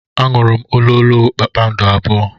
M ṅụrụ ololo kpakpando abụọ.